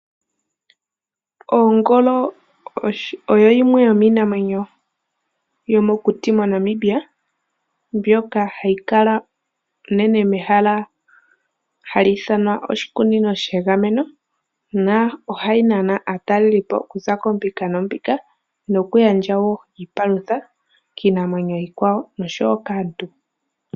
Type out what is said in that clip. Ongolo oyo yimwe yomiinamwenyo yomokuti moNamibia mbyoka hayi kala unene mehala hali ithanwa oshikunino shegameno, ohayi nana aatalelipo oku za koombinga noombinga nohayi gandja iipalutha kiinamwenyo iikwawo osho wo kaantu.